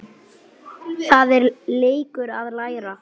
Það er leikur að læra